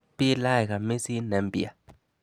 Bilach kamisit ne mpya.